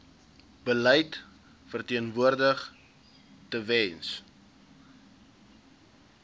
beleid verteenwoordig tewens